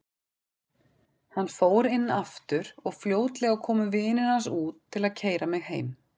Hann fór inn aftur og fljótlega komu vinir hans út til að keyra mig heim.